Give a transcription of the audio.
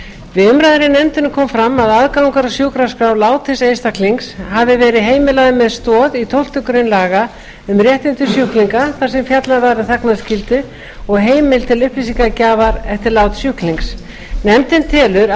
við umræður í nefndinni kom fram að aðgangur að sjúkraskrá látins einstaklings hafi verið heimilaður með stoð í tólftu grein laga um réttindi sjúklinga þar sem fjallað var um þagnarskyldu og heimild til upplýsingagjafar eftir lát sjúklings nefndin telur